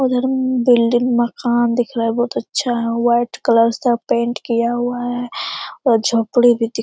और एरम बिल्डिंग मकान दिख रहा है बहुत अच्छा है व्हाइट कलर से पेंट किया हुआ है और झोपड़ी भी दिख --